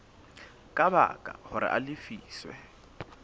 ka baka hore a lefiswe